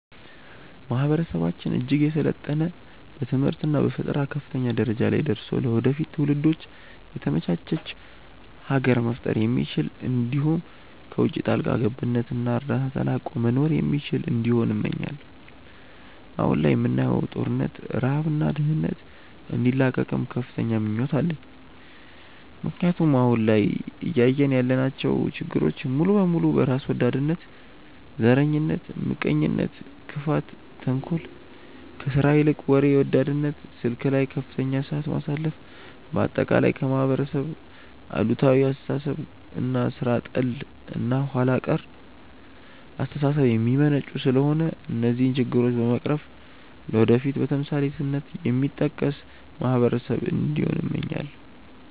ማህበረሰባችን እጅግ የሰለጠነ በትምህርት እና በፈጠራ ከፍተኛ ደረጃ ላይ ደርሶ ለወደፊት ትውልዶች የተመቻች ሀገር መፍጠር የሚችል እንዲሁም ከውቺ ጣልቃ ገብነት እና እርዳታ ተላቆ መኖር የሚችል እንዲሆን እመኛለው። አሁን ላይ የምናየውን ጦርነት፣ ረሃብ እና ድህነት እንዲላቀቅም ከፍተኛ ምኞት አለኝ ምክንያቱም አሁን ላይ እያየን ያለናቸው ችግሮች ሙሉ በሙሉ በራስ ወዳድነት፣ ዘረኝነት፣ ምቀኝነት፣ ክፋት፣ ተንኮል፣ ከስራ ይልቅ ወሬ ወዳድነት፣ ስልክ ላይ ከፍተኛ ሰዓት ማሳለፍ፣ በአጠቃላይ ከማህበረሰብ አሉታዊ አስተሳሰብ እና ሥራ ጠል እና ኋላ ቀር አስተሳሰብ የሚመነጩ ስለሆነ እነዚህን ችግሮች በመቅረፍ ለወደፊት በተምሳሌትነት የሚጠቀስ ማህበረሰብ እንዲሆን እመኛለው።